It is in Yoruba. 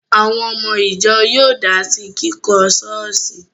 Àwọn ọmọ ìjọ yóò dá sí kíkọ́ ṣọ́ọ̀ṣì